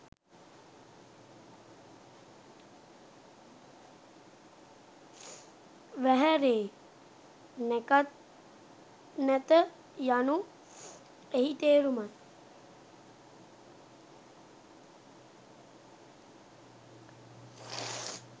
වැහැරේ.නැකත් නැත යනු එහි තේරුම යි.